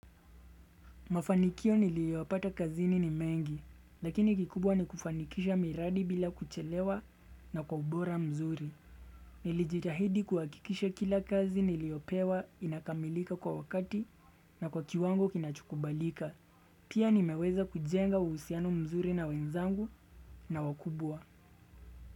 Mafanikio niliyopata kazini ni mengi, lakini kikubwa ni kufanikisha miradi bila kuchelewa na kwa ubora mzuri. Nilijitahidi kuhakikisha kila kazi niliyopewa inakamilika kwa wakati na kwa kiwango kinachokubalika. Pia nimeweza kujenga uhusiano mzuri na wenzangu na wakubwa.